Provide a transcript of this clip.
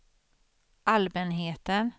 allmänheten